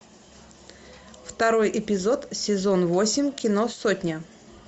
второй эпизод сезон восемь кино сотня